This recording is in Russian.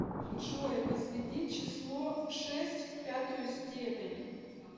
джой возведи число шесть в пятую степень